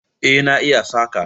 Eh na iya saƙa